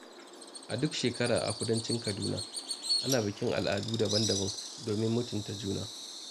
A duk shekara a Kudancin Kaduna, ana bikin al'adu daban-daban domin mutunta juna.